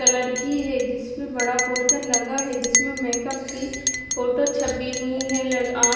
colour की है जिसपे बड़ा पोस्टर लगा है जिसमें मेकअप की फोटो छपी हुई है ल आप--